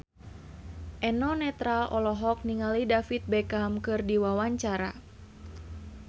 Eno Netral olohok ningali David Beckham keur diwawancara